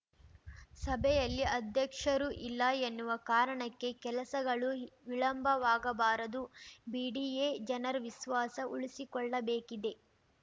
ಸಭೆಯಲ್ಲಿ ಅಧ್ಯಕ್ಷರು ಇಲ್ಲ ಎನ್ನುವ ಕಾರಣಕ್ಕೆ ಕೆಲಸಗಳು ವಿಳಂಬವಾಗಬಾರದು ಬಿಡಿಎ ಜನರ ವಿಶ್ವಾಸ ಉಳಿಸಿಕೊಳ್ಳಬೇಕಿದೆ